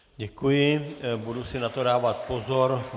Děkuji, budu si na to dávat pozor.